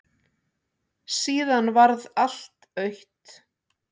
Síðan varð allt autt.